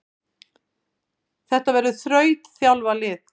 Þetta verður þrautþjálfað lið.